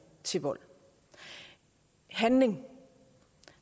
til vold handling